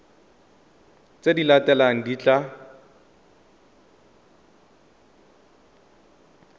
tse di latelang di tla